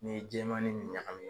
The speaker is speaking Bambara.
N'i ye jɛman ni nin ɲagami